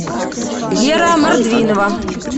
вера мордвинова